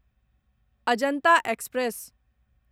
Ajanta express